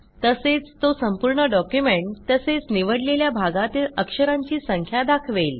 तसेच तो संपूर्ण डॉक्युमेंट तसेच निवडलेल्या भागातील अक्षरांची संख्या दाखवेल